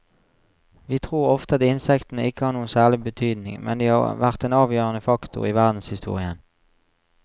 Vi tror ofte at insektene ikke har noen særlig betydning, men de har vært en avgjørende faktor i verdenshistorien.